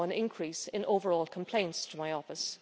saw an increase in overall complaints to my office.